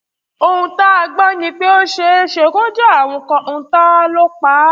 ohun tá a gbọ ni pé ó ṣeé ṣe kó jẹ àrùn kọntà ló pa á